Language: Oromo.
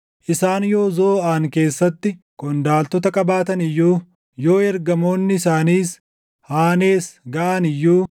Isaan yoo Zooʼaan keessatti qondaaltota qabaatan iyyuu, yoo ergamoonni isaaniis Haanees gaʼan iyyuu,